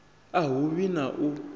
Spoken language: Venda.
a hu vhi na u